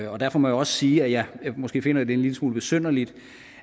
og derfor må jeg også sige at jeg måske finder det en lille smule besynderligt